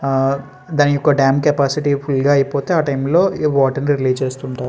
ఆ దాని యొక్క డామ్ కెపాసిటీ ఫుల్ గా అయిపోతే ఆ టైమ్ లో ఈ వాటర్ ని రిలీస్ చేస్తుంటారు.